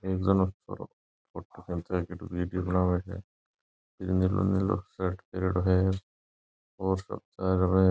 एक जणो छोरो फोटो खींचे है काई ठा बनावे है इक जनों नीलो शर्ट पहरयोडो है और सब --